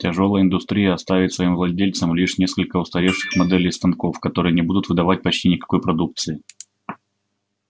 тяжёлая индустрия оставит своим владельцам лишь несколько устаревших моделей станков которые не будут выдавать почти никакой продукции